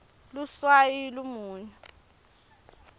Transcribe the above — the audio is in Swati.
luswayi lumunyu